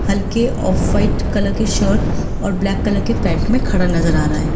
हल्के off white colour के shirt और ब्लैक कलर के पैंट में खड़ा नजर आ रहा है।